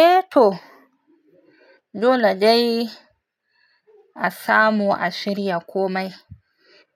Eh to! Dole dai a samu a shirya komai.